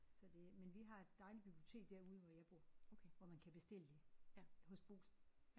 Så det men vi har et dejligt bibliotek derude hvor jeg bor hvor man kan bestille hos Brugsen